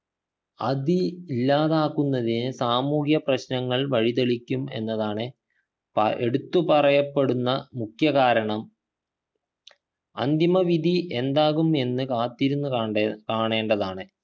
അത് ഇല്ലാതാകുന്നതിനെ സാമൂഹ്യ പ്രശ്നങ്ങൾ വഴിതെളിക്കും എന്നതാണ് പ എടുത്തു പറയപ്പെടുന്ന മുഖ്യ കാരണം അന്തിമ വിധി എന്താകും എന്ന് കാത്തിരുന്നു കാണ്ടേ കാണേണ്ടതാണ്